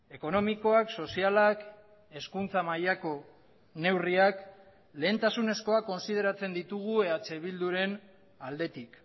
ekonomikoak sozialak hezkuntza mailako neurriak lehentasunezkoak kontsideratzen ditugu eh bilduren aldetik